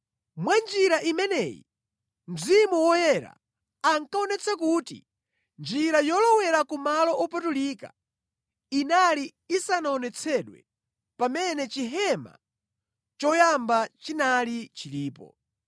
Mwa njira imeneyi Mzimu Woyera ankaonetsa kuti njira yolowera ku malo opatulika inali isanaonetsedwe pamene Chihema choyamba chinali chilipo.